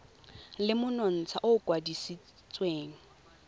le monontsha o o kwadisitsweng